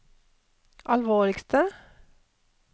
alvorligste